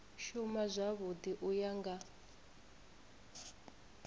shuma zwavhui u ya nga